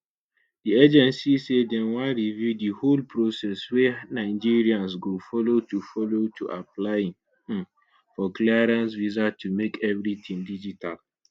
di agency say dem wan review di whole process wey nigerians go follow to follow to applying um for clearance visa to make everytin digital